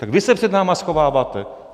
Tak vy se před námi schováváte.